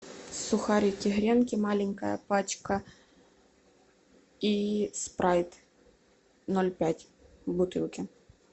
сухарики гренки маленькая пачка и спрайт ноль пять в бутылке